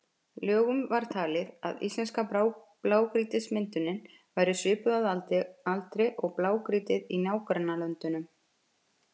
Löngum var talið að íslenska blágrýtismyndunin væri svipuð að aldri og blágrýtið í nágrannalöndunum.